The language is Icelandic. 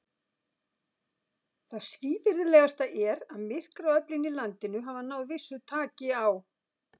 Það svívirðilegasta er, að myrkraöflin í landinu hafa náð vissu taki á.